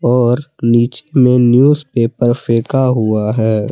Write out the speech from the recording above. और नीचे में न्यूजपेपर फेंका हुआ है।